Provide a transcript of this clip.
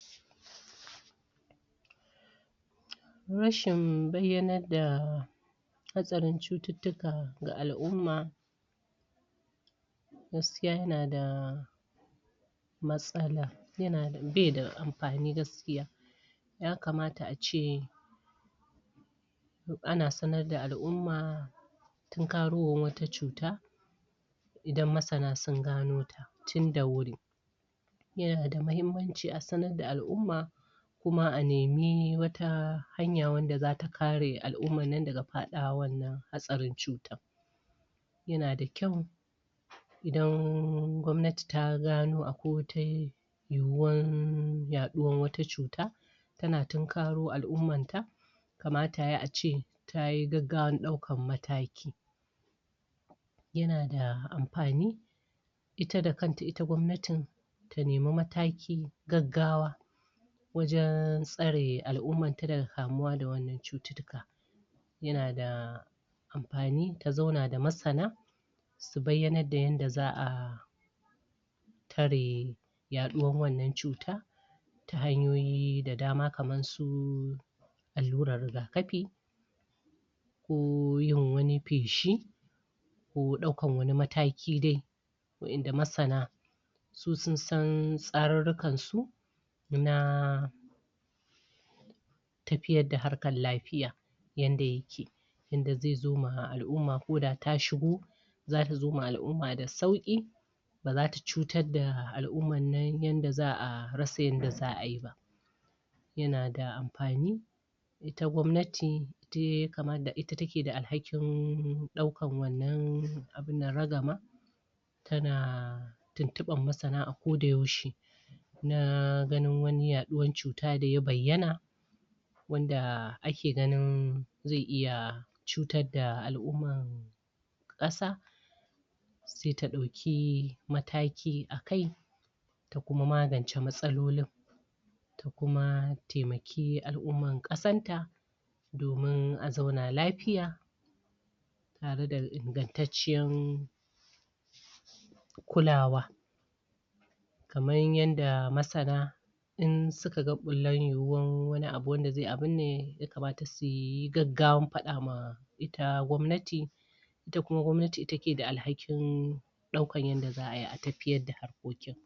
rashin bayyanar da hatsarin cututtuka ga al'umma gaskiya yana da matsala be da amfani gaskiya ya kamata ace ana sanar da al'umma tinkarowar wata cuta idan masana sun gano ta tin da wuri yanada mahimmanci a sanar da al'umma kuma a nemi wata hanya wanda zata kare al'ummar nan daga faɗawa wannan hatsarin cutan yana da kyau idan gwamnati ta gano akwai wata yiwuwar yaɗuwar wata cuta tana tunkaro al'ummar ta kamata yayi ace tayi gaggawan ɗaukan mataki yana da amfani ita da kanta ita gwamnatin ta nemi mataki gaggawa wajen tsare al'ummar ta daga kamuwa da wannan cututtuka yana da amfani ta zauna da masana su bayyanar da yanda za'a tare yaɗuwar wannan cuta ta hanyoyi da dama kamar su allurar rigakafi ko yin wani feshi ko ɗaukan wani mataki dai wa'inda masana su sun san tsarurrukan su na tafiyar da harkar lafiya yanda yake yanda ze zo ma al'umma ko da ta shigo zata zo ma al'umma da sauƙi ba zata cutar da al'ummar nan yanda za'a rasa yanda za'a yi ba yana da amfani ita gwamnati ita take da alhakin ɗaukan wannan ragamar tana tuntuɓar masana a ko da yaushe na ganin wani yaɗuwar cuta da ya bayyana wanda ake ganin ze iya cutar da al'ummar ƙasa se ta ɗauki mataki a kai ta kuma magance matsalolin ta kuma temaki al'ummar ƙasanta domin a zauna lafiya tare da ingantacciyar kulawa kamar yanda masana in suka ga yiwuwan wani abu wanda ze ya kamata suyi gaggawan faɗa ma ita gwamnati ita kuma gwamnati ita ke da alhakin ɗaukan yadda za'a yi a tafiyar da harkokin